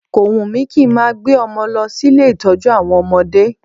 Ko wùn mí kí n máa gbé ọmọ lọ sí ilé ìtọ́jú àwọn ọmọdé